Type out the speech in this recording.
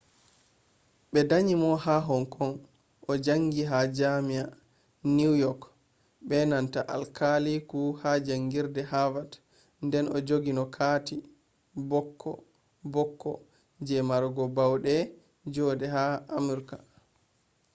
ɓe danyi mo ha hong kong o jaangi ha jaami’a new york be nanta alkaliku ha jaangirde havard nden o jogino kati bokko bokko je marugo baude joode haa amurka